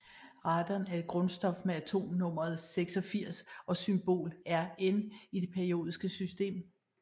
Radon er et grundstof med atomnummer 86 og symbol Rn i det periodiske system